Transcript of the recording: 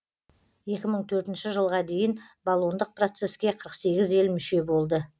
екі мың төртінші жылға дейін болондық процеске қырық сегіз ел мүше болды